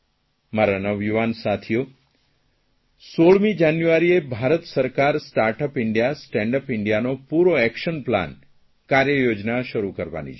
મારા નવયુવાન સાથીઓ 16મી જાન્યુઆરીએ ભારત સરકાર સ્ટાર્ટઅપ ઇન્ડિયા સ્ટેન્ડ અપ ઇન્ડિયાનો પૂરો એકશન પ્લાન કાર્યયોજના શરૂ કરાવવાની છે